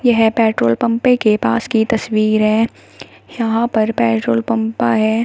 यह पेट्रोल पम्पे के पास की तस्वीर है यहां पर पेट्रोल पंपा है।